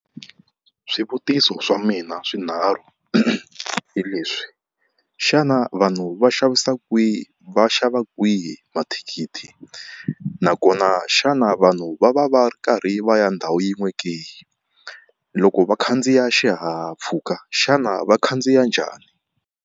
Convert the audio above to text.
Swivutiso swa mina swinharhu hi leswi, xana vanhu va xavisa kwihi, va xava kwihi mathikithi, nakona xana vanhu va va va ri karhi va ya ndhawu yin'we ke, loko va khandziya xihahampfhuka xana va khandziya njhani?